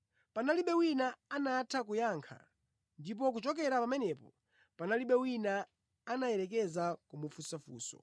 Panalibe wina anatha kuyankha, ndipo kuchokera pamenepo, panalibe wina anayerekeza kumufunsa funso.